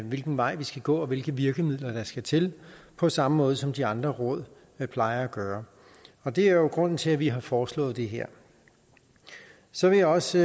hvilken vej vi skal gå og hvilke virkemidler der skal til på samme måde som de andre råd plejer at gøre og det er jo grunden til at vi har foreslået det her så vil jeg også